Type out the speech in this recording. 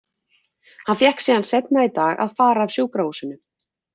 Hann fékk síðan seinna í dag að fara af sjúkrahúsinu.